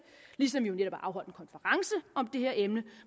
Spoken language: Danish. ligesom vi netop har afholdt en konference om det her emne